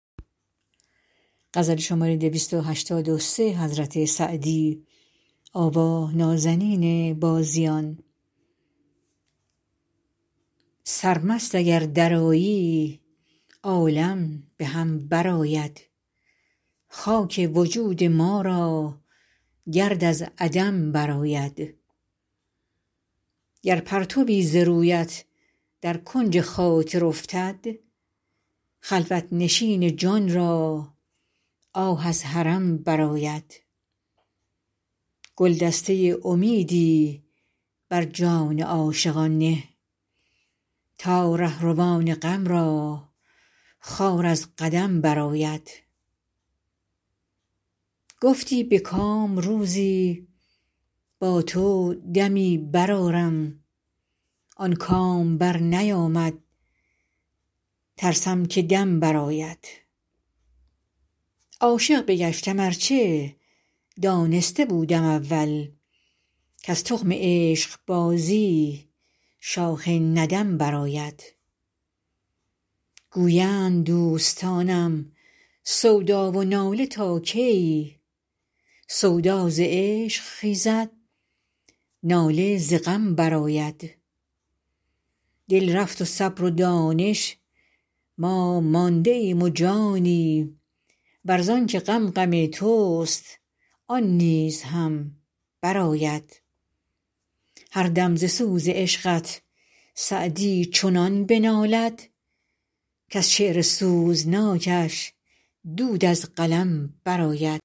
سرمست اگر درآیی عالم به هم برآید خاک وجود ما را گرد از عدم برآید گر پرتوی ز رویت در کنج خاطر افتد خلوت نشین جان را آه از حرم برآید گلدسته امیدی بر جان عاشقان نه تا رهروان غم را خار از قدم برآید گفتی به کام روزی با تو دمی برآرم آن کام برنیامد ترسم که دم برآید عاشق بگشتم ار چه دانسته بودم اول کز تخم عشقبازی شاخ ندم برآید گویند دوستانم سودا و ناله تا کی سودا ز عشق خیزد ناله ز غم برآید دل رفت و صبر و دانش ما مانده ایم و جانی ور زان که غم غم توست آن نیز هم برآید هر دم ز سوز عشقت سعدی چنان بنالد کز شعر سوزناکش دود از قلم برآید